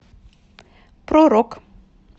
про рок